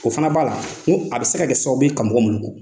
O fana b'a la ni a bɛ se ka kɛ sababu ye ni ka mɔkɔɔ muluku !